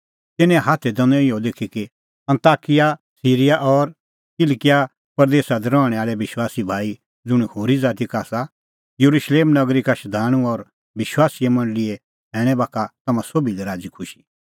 तिन्नें हाथै दैनअ इहअ लिखी कि अन्ताकिया सिरीया और किलकिआ प्रदेस दी रहणैं आल़ै विश्वासी भाई ज़ुंण होरी ज़ाती का आसा येरुशलेम नगरी का शधाणूं और विश्वासी मंडल़ीए सैणैं बाखा तम्हां सोभी लै राज़ीखुशी